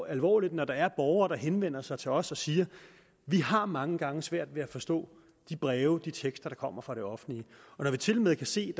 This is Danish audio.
alvorligt når der er borgere der henvender sig til os og siger vi har mange gange svært ved at forstå de breve de tekster der kommer fra det offentlige når vi tilmed kan se